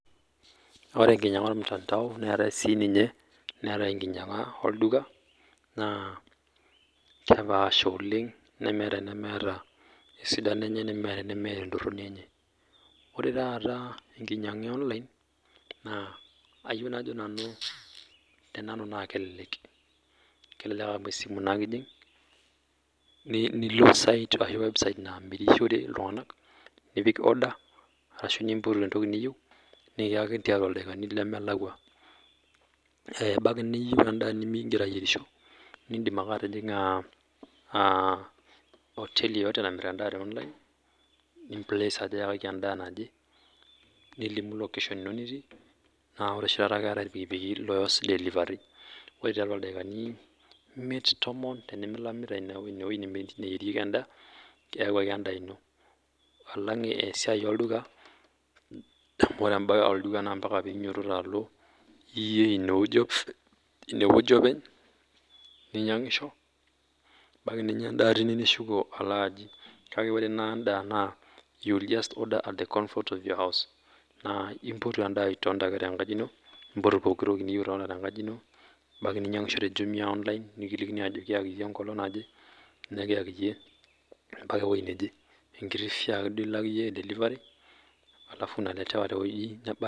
Ore ekinyiaga ormutandao neetae sininye netaae ekinyiaga olduka naa, kepaasha oleng nemeeta enemeeta esidano enye nemeeta enemeeta etoroni enye. Ore taata ekinyiaga e online naa ayieu najo nanu te nanu naa kelelek, kelelek amu esimu naake ijing nilo site ashu, website namirishore iltunganak nipik order ashu nipotu etoki niyieu nikiyakini tiatua ildaikini lemelakua. Eh ebaiki niyieu endaa nimingira ayierisho nidim ake atijinga ah hoteli pooki namir endaa te online ni place ajo ayakaki endaa naje nilimu location ino nitii, naa ore oshi taata naa ketae irpikipiki looas delivery. Ore tiatua ildaikani imiet tomon tenimilamita ine weuji nemirieki endaa keyawuaki endaa ino. Alang esiai olduka amu ore ebae olduka naa mpaka nidumunye alo iyie ineweuji openy ninyangisho, ebaiki ninya endaa teine nishuko alo ajing, kake ore naa enda naa you will just order at the comfort of your house naa ipotu endaa itonita ake te nkaji ino nipotu pok toki niyieu itonita te nkaji ino ebaiki ninyangisho te jumuia online nikilikini ajo kiyaki iyie ekolong naje, nikiyaki iyie mpaka ewueji neje, ekiti toki duake iyie ilak eh delivery alafu unaletewa tewueji nebaa.